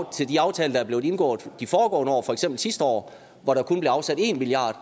til de aftaler der er blevet indgået de foregående år for eksempel sidste år hvor der kun blev afsat en milliard